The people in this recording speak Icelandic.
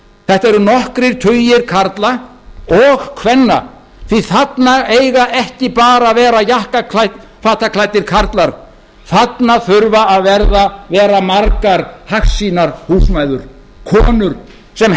þetta eru nokkrir tugir karla og kvenna því að þarna eiga ekki bara að vera jakkafataklæddir karlar þarna þurfa að vera margar hagsýnar húsmæður konur sem